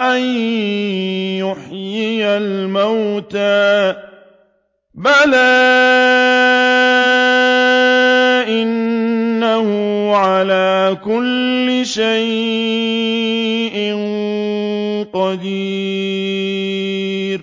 أَن يُحْيِيَ الْمَوْتَىٰ ۚ بَلَىٰ إِنَّهُ عَلَىٰ كُلِّ شَيْءٍ قَدِيرٌ